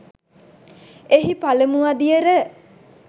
එහි පළමු අදියර